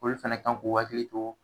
Olu fɛnɛ kan k'u hakili to